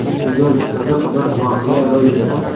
Bugun qiziq bir voqea ro‘y berdi.